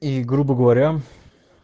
и грубо говоря